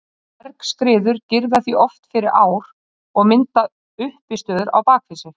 Bergskriður girða því oft fyrir ár og mynda uppistöður á bak við sig.